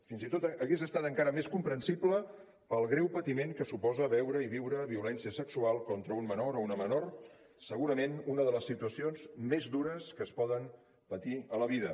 fins i tot hagués estat encara més comprensible pel greu patiment que suposa veure i viure violència sexual contra un menor o una menor segurament una de les situacions més dures que es poden patir a la vida